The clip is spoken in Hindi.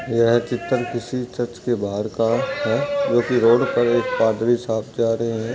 यह चित्र किसी चर्च के बाहर का है जोकि रोड पर एक पादरी साहब जा रहे हैं।